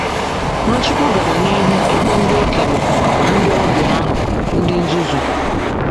Nwachukwu gara n’ihu ịkpọ ndị okenye na ndị ọbia ahụ“ ndị nzuzu. ”